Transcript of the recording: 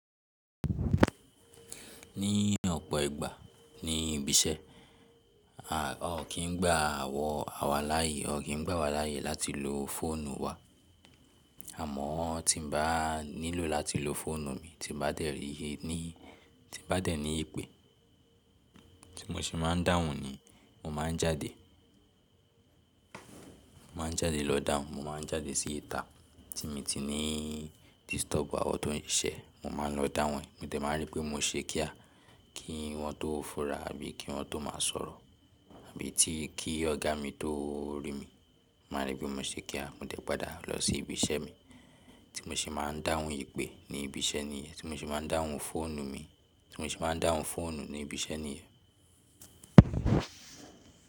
Ní ọ̀pọ̀ ìgbà ní ibi iṣẹ́ a ò kí ń gba àwọn awo láàyè, a ò kí ń gba wa láàyè láti lo fóònù wa. Àmọ́ tí mo bá nílò láti lo fóònù mi, tí mo bá dẹ̀ ní ìpè tí mo ṣe máa ń dáhùn ni mo máa ń jáde, mo máa ń jáde lọ dáhùn. Mo máa ń jáde sí ìta tí mi ti ní disturb àwọn tó ń siṣẹ́, mo máa lọ dáhùn e Mo tẹ̀ máa rí pé mo ṣekíà kí wọ́n tó fura bí i kí wọ́n tó máa sọ̀rọ̀ àbí tí kí ọ̀gá mi tó rí mi, mo máa rí pé mo ṣekíà. Mo tẹ̀ padà lọ sí ibi iṣẹ́ mi tí mo ṣe máa ń dáhùn ìpè ní ibi iṣẹ́ níyẹn, tí mo ṣe máa ń dáhùn fóònù mi, tí mo ṣe máa ń dáhùn fóònù ní ibi iṣẹ́ níyẹn.